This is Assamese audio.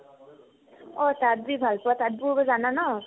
অ, তাঁত যি ভাল পোৱা তাঁত বোব জানা ন ?